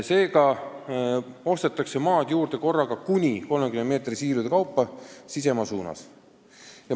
Seega ostetakse maad juurde korraga kuni 30 meetri laiuste siilude kaupa sisemaa suunas.